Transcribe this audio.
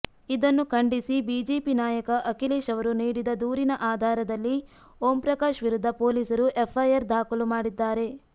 ಇದನ್ನು ಖಂಡಿಸಿ ಬಿಜೆಪಿ ನಾಯಕ ಅಖಿಲೇಶ್ ಅವರು ನೀಡಿದ ದೂರಿನ ಆಧಾರದಲ್ಲಿ ಓಂಪ್ರಕಾಶ್ ವಿರುದ್ಧ ಪೊಲೀಸರು ಎಫ್ಐಆರ್ ದಾಖಲು ಮಾಡಿದ್ದಾರೆ